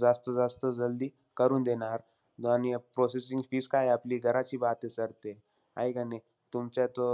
जास्त-जास्त जल्दी करून देणार. आणि processing fees काये आपली, घराची बात आहे sir ते. आहे का नाई? तुमचं तो